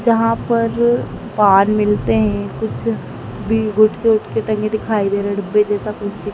जहां पर पान मिलते हैं कुछ भी गुटके उटके टंगे दिखाई दे रहे डब्बे जैसा कु--